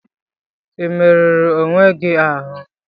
Ị merụrụ onwe gị ahụ?